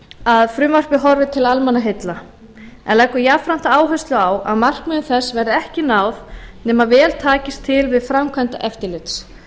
að frumvarpið horfi til almannaheilla en leggur jafnframt áherslu á að markmiðum þess verði ekki náð nema vel takist til við framkvæmd eftirlits